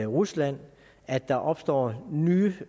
rusland at der opstår nye